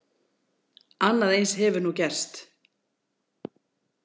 Annað eins hefur nú gerst.